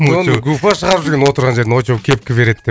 оны гупа шығарып жүрген отырған жерінде очоу кепка береді деп